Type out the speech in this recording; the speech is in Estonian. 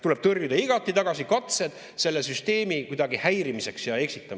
Tuleb tõrjuda igati tagasi katsed seda süsteemi kuidagi häirida ja eksitada.